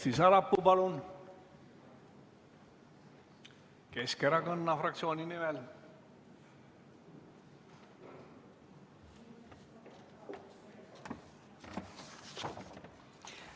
Kersti Sarapuu, palun, Keskerakonna fraktsiooni nimel!